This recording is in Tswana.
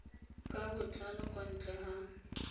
ka botlalo kwa ntle ga